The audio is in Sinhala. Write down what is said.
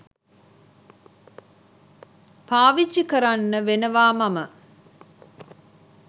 පාවිච්චි කරන්න වෙනවාමම